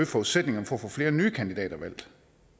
forudsætningerne for at få flere nye kandidater valgt